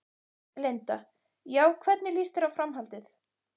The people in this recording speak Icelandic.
Linda: Já, hvernig lýst þér á framhaldið?